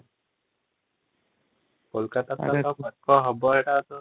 କୋଲକାତା ପାଖ ହେବ ଏଇଟା ତ